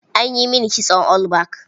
An yi mini kitson all back.